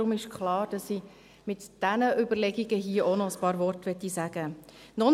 Deshalb ist klar, dass ich zu diesen Überlegungen hier auch noch ein paar Worte sagen möchte.